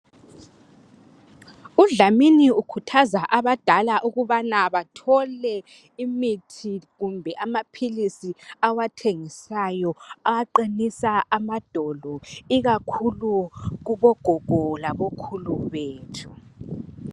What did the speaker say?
UDlamini ukhuthaza abadala ukubana bathole imithi kumbe amaphilisi awathengisayo, aqinisa amadolo ikakhulu kubogogo labokhulu bethu.